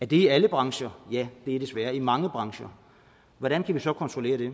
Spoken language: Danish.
det i alle brancher ja det er desværre i mange brancher hvordan kan vi så kontrollere det